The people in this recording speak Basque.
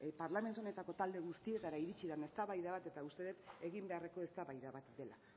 parlamentu honetako talde guztietara iritsi den eztabaida bat eta uste dut egin beharreko eztabaida bat dela